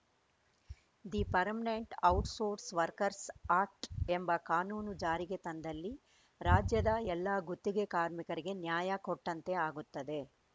the permanent outsource workers act ಎಂಬ ಕಾನೂನು ಜಾರಿಗೆ ತಂದಲ್ಲಿ ರಾಜ್ಯದ ಎಲ್ಲ ಗುತ್ತಿಗೆ ಕಾರ್ಮಿಕರಿಗೆ ನ್ಯಾಯ ಕೊಟ್ಟಂತೆ ಆಗುತ್ತದೆ